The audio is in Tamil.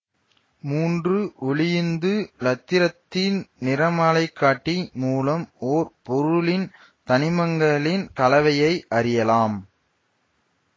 மூன்று ஒளியுந்து இலத்திரன் நிறமாலைக்காட்டி மூலம் ஓர் பொருளின் தனிமங்களின் கலவையை அறியலாம்